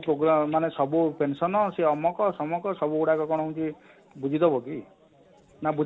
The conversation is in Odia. ମାନେ ସବୁ pension ନ ସେ ଅମକ ଶମକ ସବୁ ଗୁଡାକ କଣ ହଉଛି ବୁଝି ଦବ କି ନା?